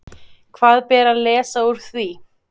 Hvað ber að lesa úr því?